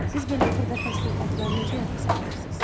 Siz belə xırda təslifatları necə yadda saxlayırsız?